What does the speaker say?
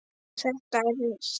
Þetta er nýtt!